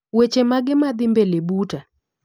Weche mage madhii mbele buta?